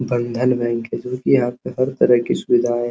बंधन बैंक है जोकि यहाँ पे हर तरह की सुविधाएं --